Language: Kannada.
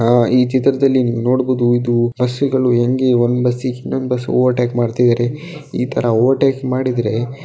ಅಹ್ ಈ ಚಿತ್ರದಲ್ಲಿ ನೋಡಬಹುದು ಇದು ಬಸ್ಸುಗಳು ಹೆಂಗೆ ಒಂದು ಬಸ್ಸಿಗೆ ಇನ್ನೊಂದು ಬಸ್ಸು ಓವರ್ಟೇಕ್ ಮಾಡ್ತಿದ್ದಾರೆ ಈ ತರ ಓವರ್ಟೇಕ್ ಮಾಡಿದ್ರೆ --